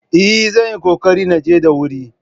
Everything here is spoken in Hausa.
Eh, zan yi ƙoƙari na je da wuri